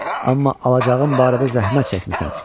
Amma alacağım barədə zəhmət çəkmisən.